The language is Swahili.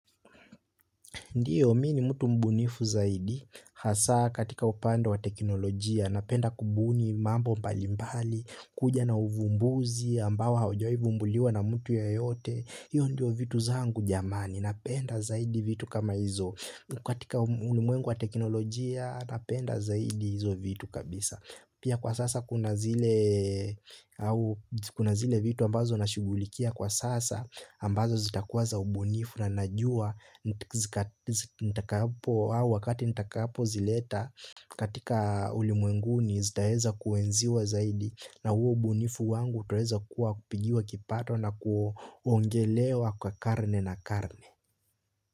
Ndio, mimi ni mtu mbunifu zaidi, hasa katika upande wa teknolojia, napenda kubuni mambo mbali mbali, kuja na uvumbuzi, ambao haujawahi vumbuliwa na mtu yeyote, hiyo ndio vitu zangu jamani, napenda zaidi vitu kama hizo, katika ulimwengu wa teknolojia, napenda zaidi hizo vitu kabisa. Pia kwa sasa kuna zile vitu ambazo nashugulikia kwa sasa ambazo zitakuwa za ubunifu na najua wakati nitakapo zileta katika ulimwenguni zitaeza kuenziwa zaidi na huo ubunifu wangu utaweza kuwa kupigiwa kipato na kuongelewa kwa karne na karne.